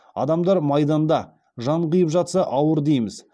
адамдар майданда жан қиып жатса ауыр дейміз